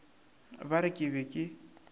ba re ke be ke